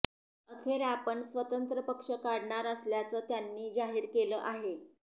अखेर आपण स्वतंत्र पक्ष काढणार असल्याचं त्यांनी जाहीर केलं आहे